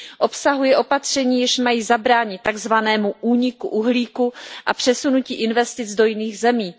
Obsahuje opatření, jež mají zabránit takzvanému úniku uhlíku a přesunutí investic do jiných zemí.